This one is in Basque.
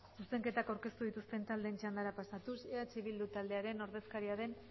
zuzenketak aurkeztu dituzten txandara pasatuz eh bildu taldearen ordezkaria den